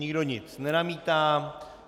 Nikdo nic nenamítá.